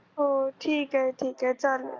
हो ठीक आहे ठीक आहे चालेल